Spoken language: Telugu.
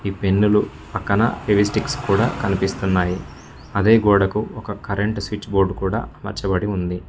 ఈ పెన్నులు పక్కన ఫీవస్టిక్స్ కూడా కనిపిస్తున్నాయి అదే గోడకు ఒక కరెంట్ స్విచ్ బోర్డు కూడా అమార్చబడి ఉంది.